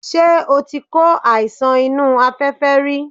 Ṣé o ti kó àìsàn inú afẹ́fẹ́ rí?